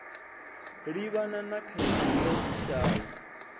livhana na khaedu ya vhushai